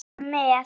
Syngja með!